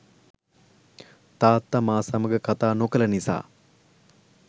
තාත්තා මා සමග කතා නොකළ නිසා